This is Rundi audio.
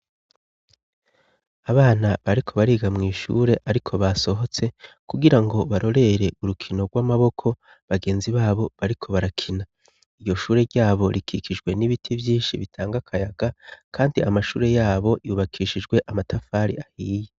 Abana bariko bariga mw'ishure, ariko basohotse kugira ngo barorere urukino rw'amaboko bagenzi babo bariko barakina. Iryo shure ryabo rikikijwe n'ibiti vyinshi bitanga kayaga kandi amashure yabo yubakishijwe amatafari ahiye.